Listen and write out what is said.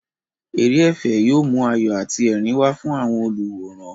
Eré ẹ̀fẹ̀ yóò mú ayọ̀ àti ẹ̀rín wá fún àwọn olùwòran.